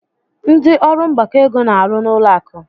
Ndị ọrụ mgbakọ ego na-arụ n'ụlọ akụ.